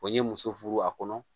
Wa n ye muso furu a kɔnɔ